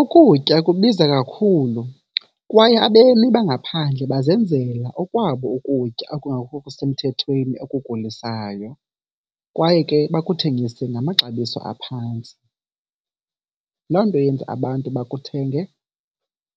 Ukutya kubiza kakhulu kwaye abemi bangaphandle bazenzela okwabo ukutya okungekho semthethweni okugulisayo kwaye ke bakuthengise ngamaxabiso aphantsi. Loo nto yenza abantu bakuthenge